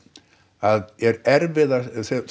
að er erfiðast